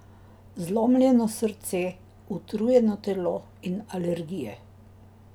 Zlomljeno srce, utrujeno telo in alergije.